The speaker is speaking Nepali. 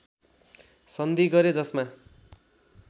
सन्धि गरे जसमा